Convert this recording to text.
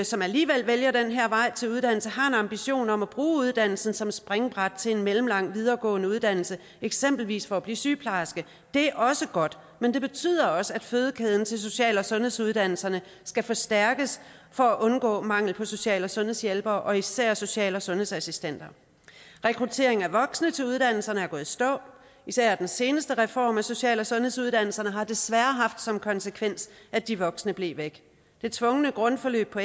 som alligevel vælger den her vej til uddannelse har en ambition om at bruge uddannelsen som et springbræt til en mellemlang videregående uddannelse eksempelvis for at blive sygeplejerske det er også godt men det betyder også at fødekæden til social og sundhedsuddannelserne skal forstærkes for at undgå mangel på social og sundhedshjælpere og især social og sundhedsassistenter rekrutteringen af voksne til uddannelserne er gået i stå især den seneste reform af social og sundhedsuddannelserne har desværre haft som konsekvens at de voksne er blevet væk det tvungne grundforløb på